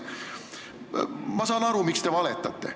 Ma saan aru, miks te valetate.